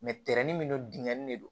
min don binkanni de don